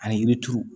Ani yiri turu